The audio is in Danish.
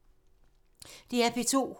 DR P2